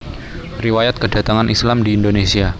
Riwayat Kedatangan Islam di Indonésia